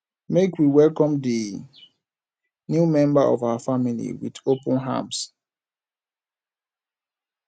make we welcome di new member of our family wit open arms